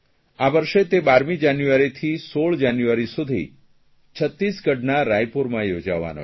આ વર્ષે તે 12 જાન્યઆરીથી 16 જાન્યુઆરી સુધી છત્તીસગઢના રામપુરમાં યોજાવનો છે